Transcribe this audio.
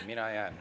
Mina jään.